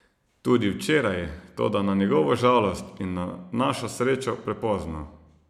Tudi včeraj, toda na njegovo žalost in našo srečo prepozno.